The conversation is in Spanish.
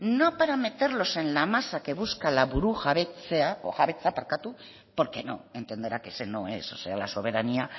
no para meterlos en la masa que busca la burujabetza porque no entenderá que ese no es o sea la soberanía